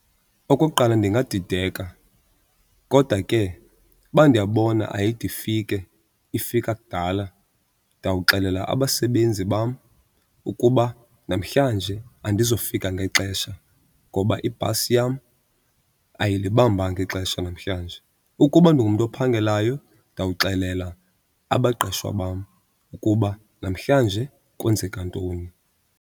Okokuqala ndingadideka kodwa ke uba ndiyabona ayide ifike ifika kudala, ndawuxelela abasebenzi bam ukuba namhlanje andizukufika ngexesha ngoba ibhasi yam ayilibambanga ixesha namhlanje. Ukuba ndingumntu ophangelayo ndawuxelela abaqeshwa bam ukuba namhlanje kwenzeka ntoni.